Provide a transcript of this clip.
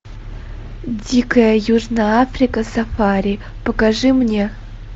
дикая южная африка сафари покажи мне